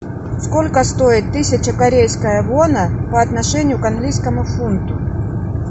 сколько стоит тысяча корейская вона по отношению к английскому фунту